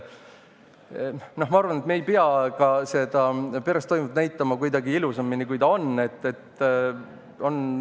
Ma arvan, et me ei pea ka peres toimuvat näitama kuidagi ilusamini, kui see on.